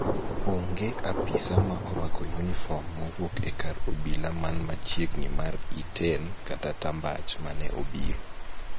Onge apisa ma orwako yunifom mowuok e kar obila man machiegni mar Iten kata Tambach mane obiro